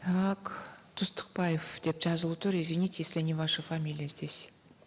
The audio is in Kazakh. так түстікбаев деп жазулы тұр извините если не ваша фамилия здесь